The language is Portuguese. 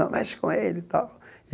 Não mexe com ele e tal.